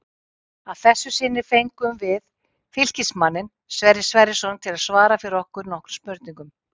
Að þessu sinni fengum við Fylkismanninn Sverrir Sverrisson til að svara fyrir okkur nokkrum spurningum.